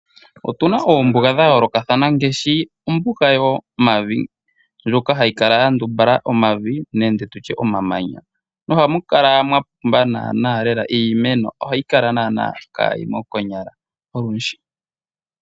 Otuna oombuga dha yoolokothana ngaashi ombuga yomavi ndjoka hayi kala yandumbala omavi nande omamanya. Ohamu kala mwa pumba iimeno ohayi kala kaayimo konyala olundji